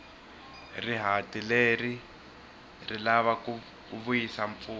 rihati leri ri lava ku vuyisa mpfula